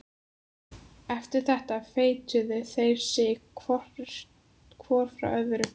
Eftir þetta fetuðu þeir sig hvor frá öðrum.